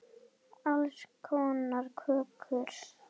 Alls konar kökur.